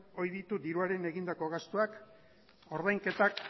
ohi ditu diruaren egindako gastuak ordainketak